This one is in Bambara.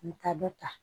An bɛ taa dɔ ta